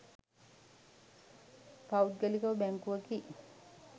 පෞද්ගලික බැංකුවකි.